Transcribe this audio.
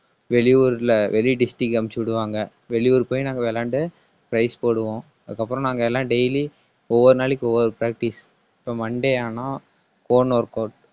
வெளியூர்ல வெளி district க்கு அனுப்பிச்சு விடுவாங்க. வெளியூர் போய் நாங்க விளையாண்டு prize போடுவோம். அதுக்கப்புறம் நாங்க எல்லாம் daily ஒவ்வொரு நாளைக்கு ஒவ்வொரு practice இப்ப monday ஆனா own workout